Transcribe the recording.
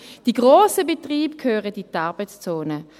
Die grossen Betriebe gehören in die Arbeitszone.